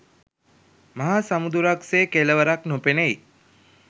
මහා සමුදුරක් සේ කෙළවරක් නොපෙනෙයි.